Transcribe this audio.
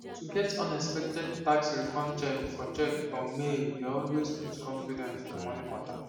to get unexpected tax refund cheque for cheque for mail dey always boost confidence for money matter